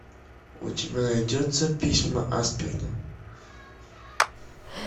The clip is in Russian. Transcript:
у тебя найдется письма асперна